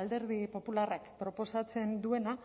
alderdi popularrak proposatzen duena